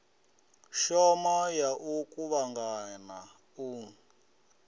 shoma ya u kuvhangana u